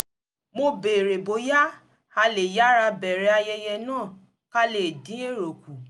mo béèrè bóyá a lè yára bẹ̀ẹ̀rẹ̀ ayẹyẹ náà ká lè dín èrò kù